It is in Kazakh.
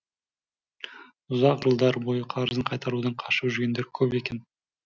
ұзақ жылдар бойы қарызын қайтарудан қашып жүргендер көп екен